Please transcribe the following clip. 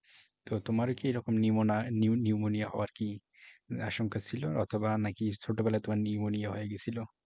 তো তোমার ও কি এরকম pneumonia হওয়ার কি আশংকা ছিল অথবা নাকি ছোটবেলায় তোমার pneumonia হয়ে গেছিল?